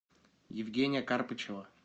евгения карпычева